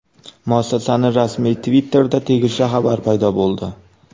Muassasaning rasmiy Twitter’ida tegishli xabar paydo bo‘ldi .